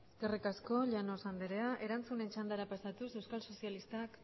eskerrik asko llanos andrea erantzunen txandara pasatuz euskal sozialistak